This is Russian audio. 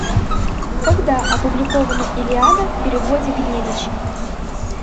когда опубликована илиада в переводе гнедича